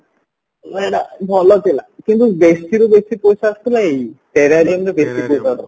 ମାନେ ଏଇଟା ଭଲ ଥିଲା କିନ୍ତୁ ବେଶିରୁ ବେଶି ପଇସା ଆସୁଥିଲା ଏଇ terrariumରେ ବେସି ପଇସା ଆସୁଥିଲା